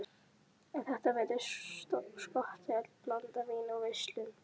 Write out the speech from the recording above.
En þetta virðist skotheld blanda: vín og verslun.